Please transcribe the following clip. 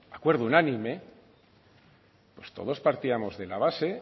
acuerdo unánime todos partíamos de la base